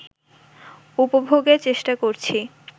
উপভোগের চেষ্টা করছি